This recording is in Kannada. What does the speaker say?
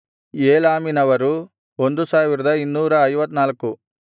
ಏಲಾಮಿನವರು 1254